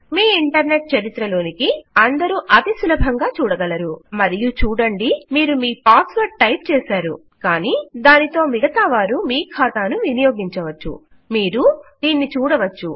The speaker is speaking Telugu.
మీ ఇంటర్నెట్ చరిత్ర లోనికి అందరూ అతి సులభంగా చూడగలరు మరియు చూడండి మీరు మీ పాస్ వర్డ్ టైప్ చేసారు కానీ దానితో మిగతా వారు మీ ఖాతాను వినియోగించవచ్చు మీరు దీన్ని చూడవచ్చు